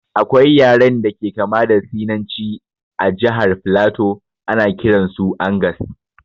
Akwai yaren da ke kama da sinanci a jahar flato, ana kiran su angas